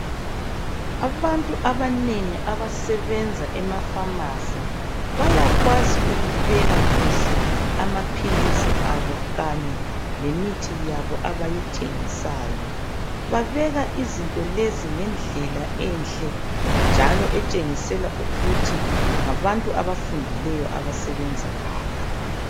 Abantu banengi abasebenza ema pharmacy bayakwazi ukubeka kuhle amaphilisi abo kanye lemithi yabo abayithengisayo babeka izinto lezi ngendlela enhle njalo etshengisela ukuthi ngabantu abafundileyo abasebenza lapha